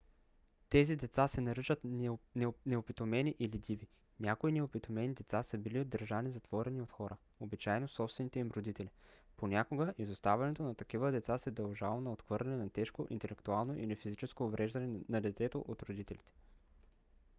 тези деца се наричат неопитомени или диви. някои неопитомени деца са били държани затворени от хора обичайно собствените им родители; понякога изоставянето на такива деца се дължало на отхвърляне на тежко интелектуално или физическо увреждане на детето от родителите